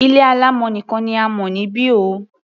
Ilé alámọ̀ nìkan ni a mọ̀ níbi o.